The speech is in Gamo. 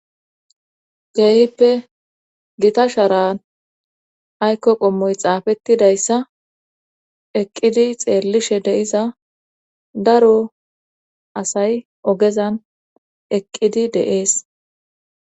Keehippe gita sharan aykko qommoy xaafettidayssa eqqidi xeellishe deiza daro asay ogezan eqqidi deees